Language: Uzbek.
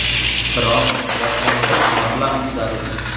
Biroq boshlang‘ich mablag‘ zarur.